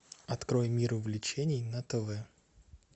открой мир увлечений на тв